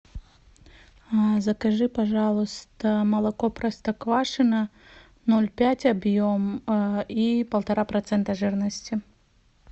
закажи пожалуйста молоко простоквашино ноль пять объем и полтора процента жирности